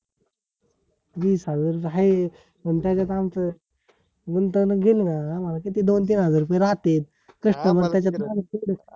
वीस हजार तर हाय पण त्याच्यात आमच गुंतवणूक गेली ना आम्हाला किती दोन तीन हजार रुपये राहतेत customer त्याच्यातून ,